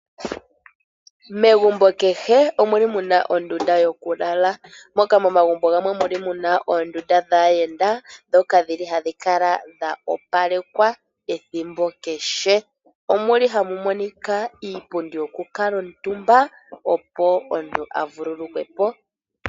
Megumbo kehe omuli muna ondunda yoku lala. Moka momagumbo gamwe muli muna oondunda dhaayenda dhoka dhili hadhi kala dha opalekwa ethimbo kehe. Omuli hamu monika iipundi yoku kuutumba opo omuntu a vululu kwepo.